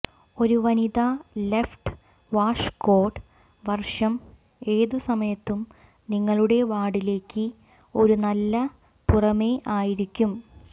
ഒരു വനിതാ ലെഫ്റ്റ് വാഷ്കോട്ട് വർഷം ഏതുസമയത്തും നിങ്ങളുടെ വാർഡിലേക്ക് ഒരു നല്ല പുറമേ ആയിരിക്കും